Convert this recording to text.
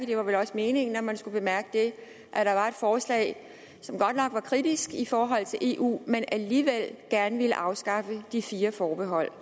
det var vel også meningen at man skulle bemærke det at der var et forslag som godt nok var kritisk i forhold til eu men alligevel gerne ville afskaffe de fire forbehold